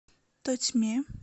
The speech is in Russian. тотьме